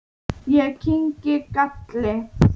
Ég kyngi galli.